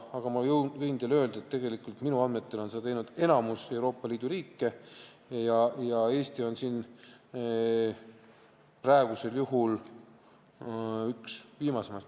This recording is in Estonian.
Aga ma võin teile öelda, et minu andmetel on seda teinud enamik Euroopa Liidu riike ja Eesti on kahjuks praegusel juhul üks viimaseid.